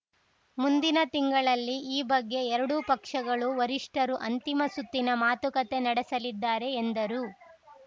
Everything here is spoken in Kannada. ಮುಂದಿನ ತಿಂಗಳಲ್ಲಿ ಈ ಬಗ್ಗೆ ಎರಡು ಪಕ್ಷಗಳು ವರಿಷ್ಠರು ಅಂತಿಮ ಸುತ್ತಿನ ಮಾತುಕತೆ ನಡೆಸಲಿದ್ದಾರೆ ಎಂದರು